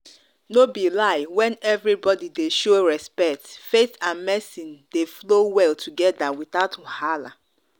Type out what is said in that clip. no be lie when everybody dey show respect faith and medicine dey flow well together without wahala.